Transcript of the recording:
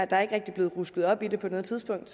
der er ikke rigtig blevet rusket op i det på noget tidspunkt